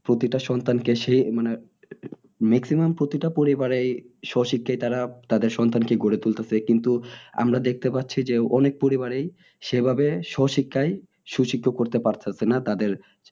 প্রতিটা সন্তান কে সে মানে maximum প্রতিটা পরিবারেই স্বশিক্ষায় তারা তাদের সন্তানদের কে গড়ে তুলতেছে কিন্তু আমরা দেখতে পারছি যে অনেক পরিবারেই সেভাবে স্বশিক্ষায় সুশিক্ষ করতে পারতাছে না তাদের